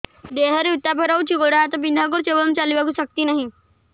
ଦେହରେ ଉତାପ ରହୁଛି ଗୋଡ଼ ହାତ ବିନ୍ଧା କରୁଛି ଏବଂ ଚାଲିବାକୁ ଶକ୍ତି ନାହିଁ